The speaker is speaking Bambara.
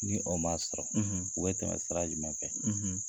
Ni o ma sɔrɔ, u bɛ tɛmɛ sira jumɛn fɛ?